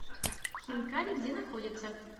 хинкали где находится